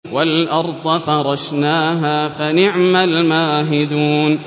وَالْأَرْضَ فَرَشْنَاهَا فَنِعْمَ الْمَاهِدُونَ